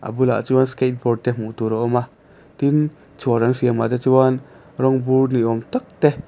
a bul ah chuan skateboard te hmuh tur a awm a tin chhuar an siam ah te chuan rawng bur ni awm tak te--